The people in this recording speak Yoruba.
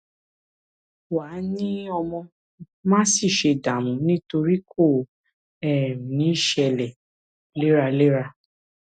wàá ní ọmọ má sì ṣe dààmú nítorí kò um ní ṣṣẹlẹ léraléra